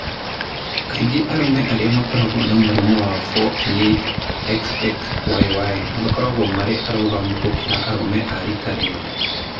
Kaingĩ arũme arĩa makoragwo na mũrimũ wa 48,XXYY makoragwo marĩ arũgamu gũkĩra arũme a riika rĩao.